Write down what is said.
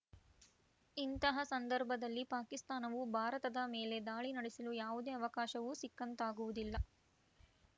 ಇಂತಹ ಸಂದರ್ಭದಲ್ಲಿ ಪಾಕಿಸ್ತಾನವು ಭಾರತದ ಮೇಲೆ ದಾಳಿ ನಡೆಸಲು ಯಾವುದೇ ಅವಕಾಶವೂ ಸಿಕ್ಕಂತಾಗುವುದಿಲ್ಲ